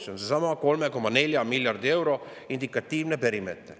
See on seesama 3,4 miljardi euro indikatiivne perimeeter.